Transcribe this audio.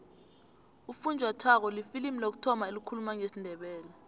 ufunjathwako lifilimu lokuthoma elikhuluma ngesindebele